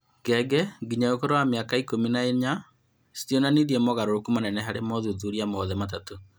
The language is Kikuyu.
Ngenge nginya ũkũrũ wa mĩaka ikũmi na inya citionanirie mogarũrũku manene harĩ mothuthuria mothe matatũ